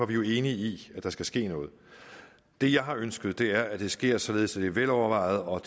vi jo enige i at der skal ske noget det jeg har ønsket er at det sker således at det er velovervejet og